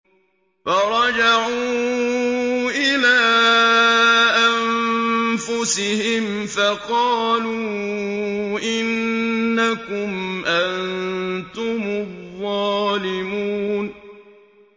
فَرَجَعُوا إِلَىٰ أَنفُسِهِمْ فَقَالُوا إِنَّكُمْ أَنتُمُ الظَّالِمُونَ